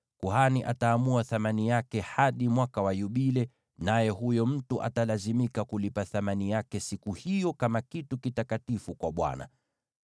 kuhani ataamua thamani yake hadi Mwaka wa Yubile, naye huyo mtu atalazimika kulipa thamani yake siku hiyo kama kitu kitakatifu kwa Bwana .